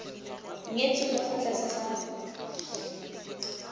nyetswe ka fa tlase ga